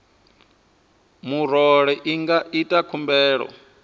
murole i nga ita khumbelo